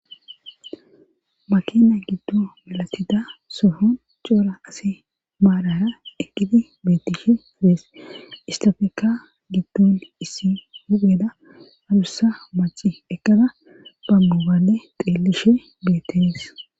makena giddo malatida sohon coora asi maadara ekidi betishe idees istofeka giddo issi mugeeda adussa maci eqada bammubale xeelishe betees